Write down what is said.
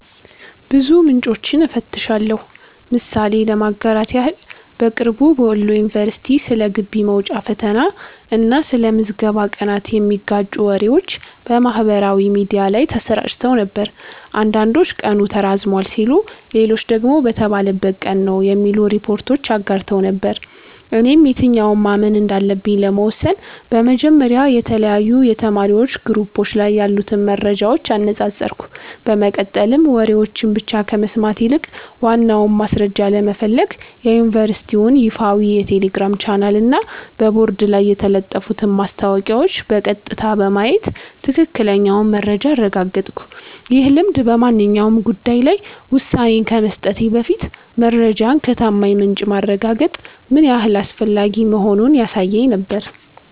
ብዙ ምንጮችን እፈትሻለሁ። ምሳሌ ለማጋራት ያህል፦ በቅርቡ በወሎ ዩኒቨርሲቲ ስለ ግቢ መውጫ ፈተና እና ስለ ምዝገባ ቀናት የሚጋጩ ወሬዎች በማህበራዊ ሚዲያ ላይ ተሰራጭተው ነበር። አንዳንዶች ቀኑ ተራዝሟል ሲሉ፣ ሌሎች ደግሞ በተባለበት ቀን ነው የሚሉ ሪፖርቶችን አጋርተው ነበር። እኔም የትኛውን ማመን እንዳለብኝ ለመወሰን በመጀመሪያ የተለያዩ የተማሪዎች ግሩፖች ላይ ያሉትን መረጃዎች አነጻጸርኩ፤ በመቀጠልም ወሬዎችን ብቻ ከመስማት ይልቅ ዋናውን ማስረጃ ለመፈለግ የዩኒቨርሲቲውን ይፋዊ የቴሌግራም ቻናልና በቦርድ ላይ የተለጠፉትን ማስታወቂያዎች በቀጥታ በማየት ትክክለኛውን መረጃ አረጋገጥኩ። ይህ ልምድ በማንኛውም ጉዳይ ላይ ውሳኔ ከመስጠቴ በፊት መረጃን ከታማኝ ምንጭ ማረጋገጥ ምን ያህል አስፈላጊ መሆኑን ያሳየኝ ነበር።